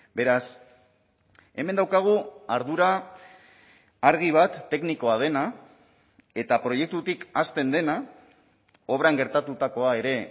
beraz hemen daukagu ardura argi bat teknikoa dena eta proiektutik hasten dena obran gertatutakoa ere